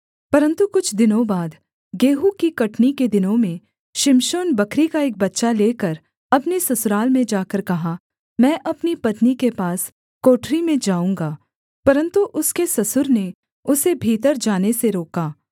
परन्तु कुछ दिनों बाद गेहूँ की कटनी के दिनों में शिमशोन बकरी का एक बच्चा लेकर अपनी ससुराल में जाकर कहा मैं अपनी पत्नी के पास कोठरी में जाऊँगा परन्तु उसके ससुर ने उसे भीतर जाने से रोका